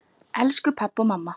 Elsku pabbi og mamma.